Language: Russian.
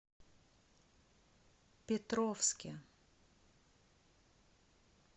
петровске